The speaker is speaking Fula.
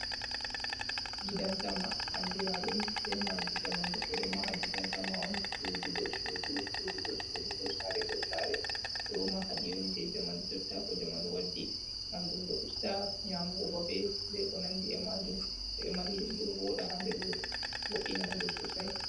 Gidansama, andira ɗum be madi jamanu. Ɓeɗo maha gidansama on sudu do sudu, sudu do suduko sare dow sare, ɗo mahadi on je jamanu jotta ko jamanu waddi, ngam ɗum ɗo usta nyamugo babe be ko nandi e majum. to e mahi ɗum ɗo voɗa ha nder wuro vo’’ina wuro sosai.